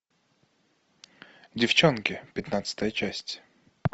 девчонки пятнадцатая часть